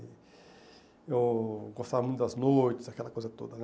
Eu gostava muito das noites, aquela coisa toda, né?